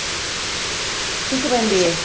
ਖਿਚ ਪੈਂਦੀ ਹੈ